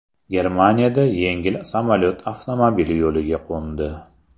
Germaniyada yengil samolyot avtomobil yo‘liga qo‘ndi.